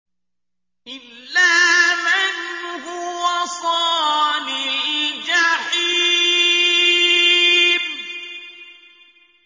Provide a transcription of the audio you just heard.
إِلَّا مَنْ هُوَ صَالِ الْجَحِيمِ